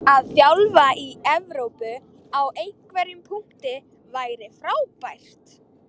Að þjálfa í EVrópu á einhverjum punkti væri frábært.